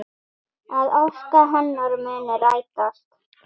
Að ósk hennar muni rætast.